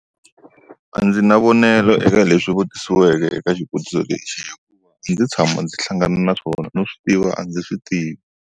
A ndzi na mavonelo eka leswi vutisiweke eka xivutiso lexi. wa. A ndzi tshama ndzi hlangana na swona, no swi tiva a ndzi swi tivi.